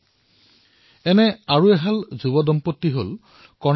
ঠিক সেইদৰে কৰ্ণাটকৰ এক যুৱ দম্পত্তি অনুদীপ আৰু মীনুষা